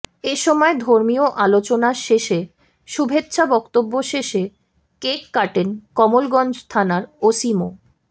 এ সময় ধর্মীয় আলোচনা শেষে শুভেচ্ছা বক্তব্য শেষে কেক কাটেন কমলগঞ্জ থানার ওসি মো